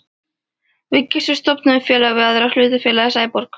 Við Gissur stofnuðum í félagi við aðra hlutafélagið Sæborg.